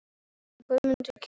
En hver myndi keyra bílinn?